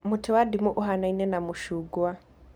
Mũtĩ wa ndimũ ũhanaine na mũchungwa